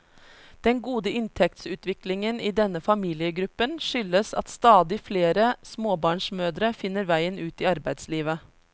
Den gode inntektsutviklingen i denne familiegruppen skyldes at stadig flere småbarnsmødre finner veien ut i arbeidslivet.